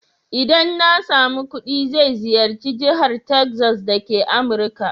Idan na samu kuɗi zai ziyarci Jahar Texas dake Amurika.